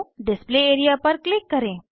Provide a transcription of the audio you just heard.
display area पर click करें